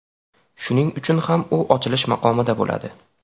Shuning uchun ham u ochilish maqomida bo‘ladi.